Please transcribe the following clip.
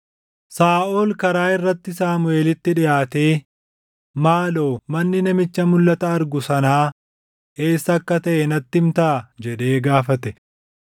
Saaʼol karaa irratti Saamuʼeelitti dhiʼaatee, “Maaloo manni namicha mulʼata argu sanaa eessa akka taʼe natti himtaa?” jedhee gaafate.